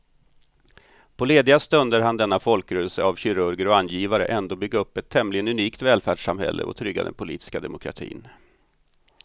På lediga stunder hann denna folkrörelse av kirurger och angivare ändå bygga upp ett tämligen unikt välfärdssamhälle och trygga den politiska demokratin.